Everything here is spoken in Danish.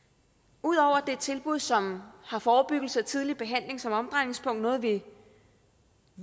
ud over at er et tilbud som har forebyggelse og tidlig behandling som omdrejningspunkt noget vi